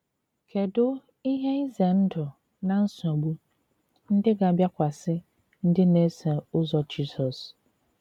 Kedụ ihe ize ndụ na nsogbu ndị ga - abịakwasị ndị na - eso ụzọ Jizọs?